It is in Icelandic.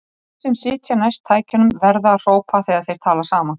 Þeir sem sitja næst tækjunum verða að hrópa þegar þeir tala saman.